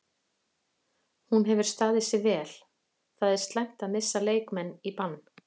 Hún hefur staðið sig vel, það er slæmt að missa leikmenn í bann.